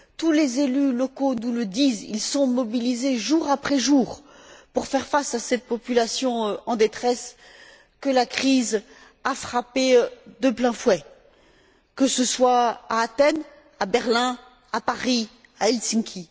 Tous les élus locaux nous le disent ils sont mobilisés jour après jour pour faire face à cette population en détresse que la crise a frappée de plein fouet, que ce soit à Athènes, à Berlin, à Paris, à Helsinki.